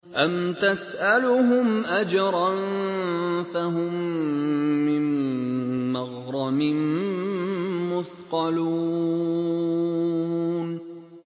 أَمْ تَسْأَلُهُمْ أَجْرًا فَهُم مِّن مَّغْرَمٍ مُّثْقَلُونَ